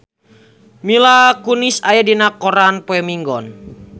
Mila Kunis aya dina koran poe Minggon